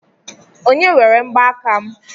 Onye were mgbaaka m?